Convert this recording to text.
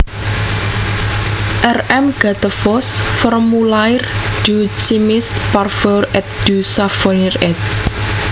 R M Gattefossé Formulaire du chimiste parfumeur et du savonnier éd